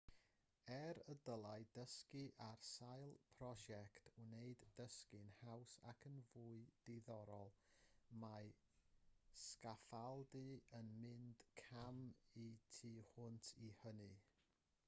er y dylai dysgu ar sail prosiect wneud dysgu'n haws ac yn fwy diddorol mae sgaffaldu yn mynd cam y tu hwnt i hynny